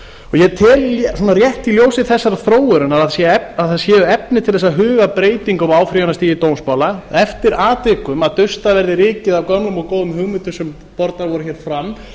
í dómaframkvæmd ég tel rétt í ljósi þessarar þróunar að það séu efni til þess að huga að breytingum á áfrýjunarstigi dómsmála og eftir atvikum að dustað verði rykið af gömlum og góðum hugmyndum sem bornar voru hér fram